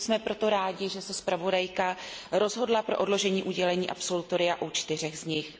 Jsme proto rádi, že se zpravodajka rozhodla pro odložení udělení absolutoria u čtyř z nich.